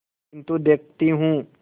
किन्तु देखती हूँ